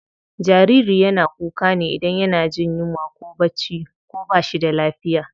Jariri yana kuka ne idan yana jin yunwa ko bacci ko bashi da lafiya.